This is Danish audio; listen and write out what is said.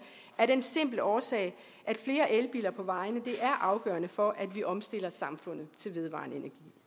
af den simple årsag at flere elbiler på vejene er afgørende for at vi omstiller samfundet til vedvarende